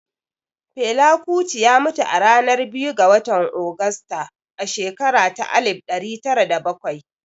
Fela Kuti ya mutu ranar biyu ga watan Augusta a shekara ta alif ɗari tara da bakwai